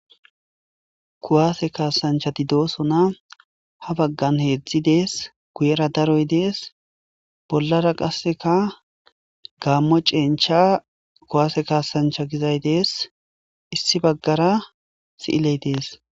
Kuwaase kaasanchchathi doosona; ha baggan heezzi de7ees; guyeera daroy de7ees; bollaara qassikka gaammo cenchcha kuwaase kaassanchcha gizay de7ees; issi baggaraa si7ilee de7ees.